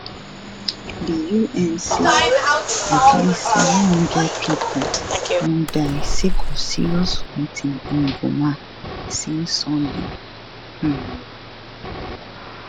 di un say at least 700 pipo don die sake of serious fighting in goma since sunday um